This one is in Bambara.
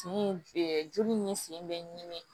Sen joli ni sen bɛ ɲini